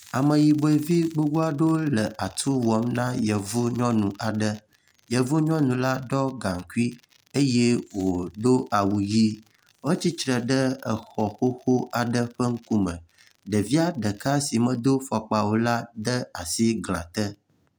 ameyiboe vi gbogbó aɖewo le atu wɔm ma yevu nyɔnu aɖe yevu nyɔnu la ɖɔ gaŋkui eye wodó awu yi etsitre ɖe exɔ xoxo aɖe ƒe ŋkume ɖevia ɖeka si medó afɔkpa o la ede asi eglã te